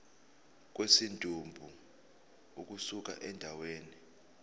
kwesidumbu ukusuka endaweni